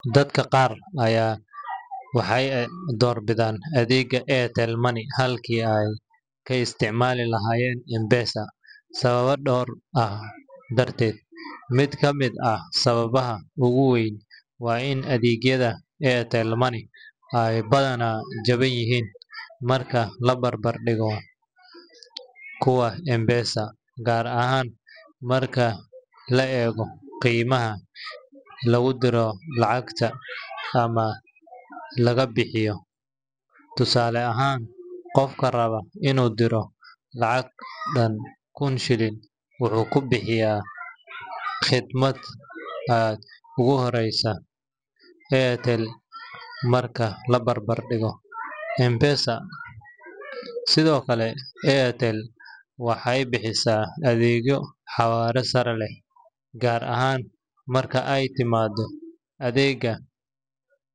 Dadka qaar waxay doorbidaan adeegga Airtel Money halkii ay ka isticmaali lahaayeen M-Pesa sababo dhowr ah dartood. Mid ka mid ah sababaha ugu weyn waa in adeegyada Airtel Money ay badanaa jaban yihiin marka la barbar dhigo kuwa M-Pesa, gaar ahaan marka la eego khidmadaha lagu diro lacagta ama laga bixiyo. Tusaale ahaan, qofka raba inuu diro lacag dhan kun shilin wuxuu ku bixiyaa khidmad aad uga hooseysa Airtel marka la barbar dhigo M-Pesa. Sidoo kale, Airtel waxay bixisaa adeegyo xawaare sare leh, gaar ahaan marka ay timaado adeegyada.